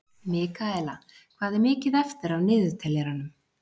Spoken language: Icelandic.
Mikaela, hvað er mikið eftir af niðurteljaranum?